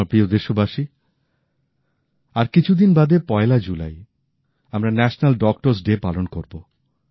আমার প্রিয় দেশবাসী আর কিছুদিন বাদে পয়লা জুলাই আমরা ন্যাশানাল ডক্টরস ডে পালন করব